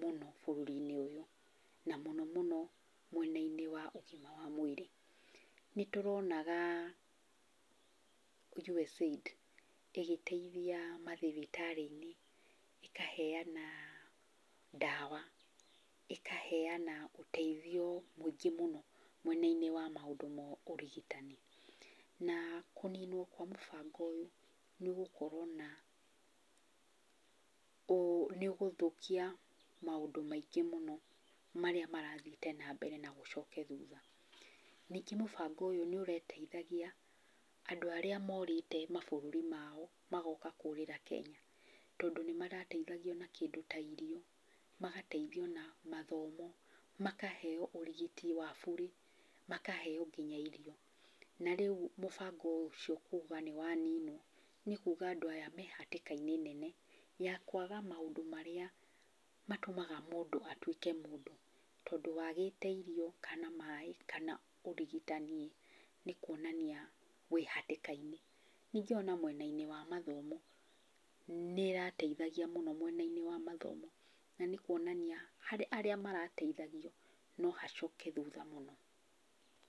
mũno bũrũri-inĩ ũyũ, na mũno mũno mwena-inĩ wa ũgima wa mwĩrĩ. Nĩ tũronaga USAID ĩgĩteithia mathibitarĩ-inĩ, ĩkaheana ndawa, ĩkaheana ũteithio mũingĩ mũno mwena-inĩ wa maũndũ ma ũrigitani. Na kũninwo kwa mũbango ũyũ nĩ ũgũkorwo na, nĩ ũgũthũkia maũndũ maingĩ mũno marĩa marathiĩte na mbere na gũcoke thutha. Nĩngĩ mũbango ũyũ nĩ ũrateithagia andũ arĩa morĩte mabũrũri mao, magoka kũrĩra Kenya, tondũ nĩ marateithagio na kĩndũ ta irio, magateithio na mathomo, makaheo ũrigiti wa burĩ, makaheo nginya irio. Na rĩu mũbango ũcio kuga nĩ waninwo, nĩ kuga andũ aya me hatĩka-inĩ nene ya kwaga maũndũ marĩa matũmaga mũndũ atuĩke mũndũ, tondũ wagĩte irio, kana maĩ, kana ũrigitani, nĩ kuonania wĩhatĩka-inĩ. Ningĩ ona mwena-inĩ wa mathomo, nĩ ĩrateithagia mũno mwena-inĩ wa mathomo, na nĩ kuonania harĩ arĩa marateithagio no hacoke thutha mũno.